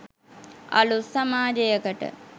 අලුත් සමාජයකට